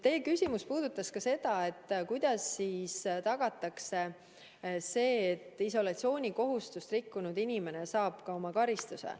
Teie küsimus puudutas ka seda, kuidas tagatakse see, et isolatsioonikohustust rikkunud inimene saab karistuse.